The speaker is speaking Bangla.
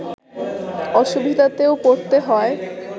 অসুবিধাতেও পড়তে হয়